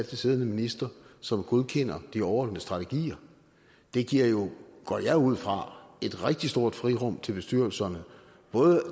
siddende minister som godkender de overordnede strategier det giver jo går jeg ud fra et rigtig stort frirum til bestyrelserne